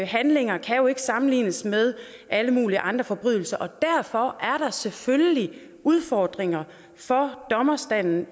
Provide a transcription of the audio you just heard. handlinger kan jo ikke sammenlignes med alle mulige andre forbrydelser og derfor er der selvfølgelig udfordringer for dommerstanden